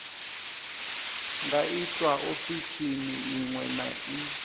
nga itwa ofisini iṅwe na